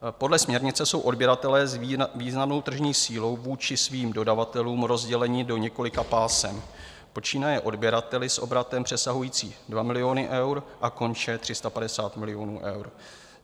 Podle směrnice jsou odběratelé s významnou tržní sílou vůči svým dodavatelům rozděleni do několika pásem, počínaje odběrateli s obratem přesahujícím 2 miliony eur a konče 350 miliony eur.